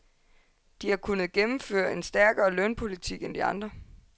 De har kunnet gennemføre en stærkere lønpolitik end de andre.